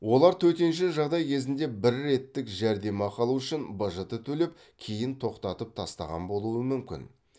олар төтенше жағдай кезінде бір реттік жәрдемақы алу үшін бжт төлеп кейін тоқтатып тастаған болуы мүмкін